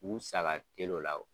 U sa ka teli o la o.